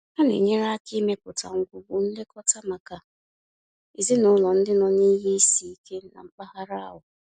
Ha na-enyere aka ịmepụta ngwugwu nlekọta maka ezinaụlọ ndị nọ n'ihe isi ike na mpaghara ahụ.